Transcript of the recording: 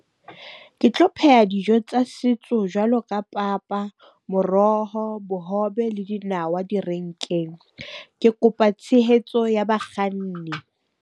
Ke tlo pheha dijo tsa setso jwalo ka papa, moroho, bohobe, le dinawa direnkeng. Ke kopa tshehetso ya bakganni.